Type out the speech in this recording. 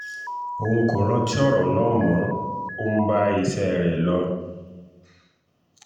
òun kò rántí ọ̀rọ̀ náà mo ò ń bá iṣẹ́ rẹ lọ